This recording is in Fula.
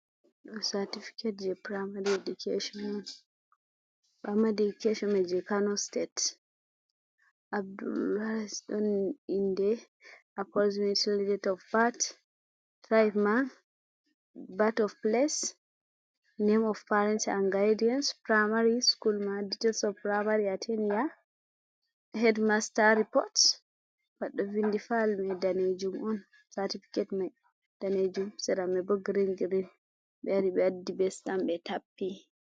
satifiket je primari edikashonji amma je kano sitet Abulnasur on inde , aporoximashon det of bat , bat of bat of piles, nem of paren an gaidiyans, piramari sukul mai , det ales of primary atenia hedmasta ripot, bat ɗo vindi fayel mai danejuum on ,satifiket mai danejuum, sera mai bo grin grin, ɓe lori ɓe waddi be sitam ɓe tappi.